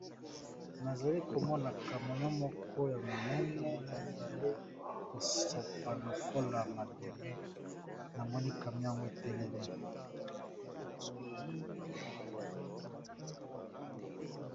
Nazali komona kamion moko ya monene ezali kosopa lokola mabele na monika yango etelemi.